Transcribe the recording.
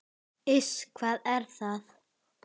Iss, hvað er það?